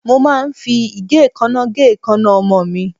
Mo máa ń fi igekana gé ikanna ọmọ mi.